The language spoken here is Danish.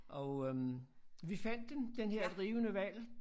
Og øh vi fandt den den her drivende hval